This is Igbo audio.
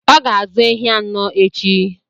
Ọ ga-azụ ehi anọ echi.